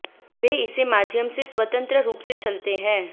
वे इसे माध्यम से स्वतंत्र रूप से चलते हैं